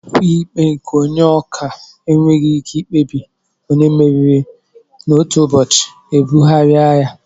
Okwu ikpe nke Onye ọka enweghị ike ikpebi onye mmeri n'otu ụbọchị ebugharịa ya